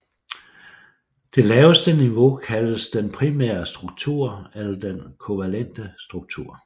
Det laveste niveau kaldes den primære struktur eller den kovalente struktur